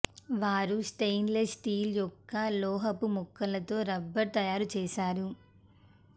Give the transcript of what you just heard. వారు stainless steel యొక్క లోహపు ముక్కలతో రబ్బరు తయారు చేస్తారు